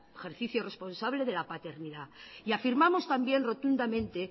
ejercicio responsable de la paternidad y afirmamos también rotundamente